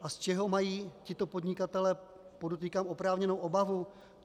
A z čeho mají tito podnikatelé, podotýkám, oprávněnou obavu?